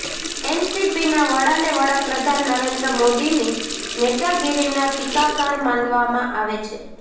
એનસીપીના વડાને વડાપ્રધાન નરેન્દ્ર મોદીની નેતાગીરીના ટીકાકાર માનવામાં આવે છે